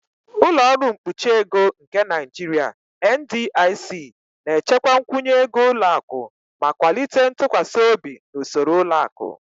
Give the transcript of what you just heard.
"Ụlọ ọrụ mkpuchi ego nke Naijiria (NDIC) na-echekwa nkwụnye ego ụlọ akụ ma kwalite ntụkwasị obi na usoro ụlọ akụ. "